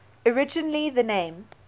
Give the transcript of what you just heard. originally the name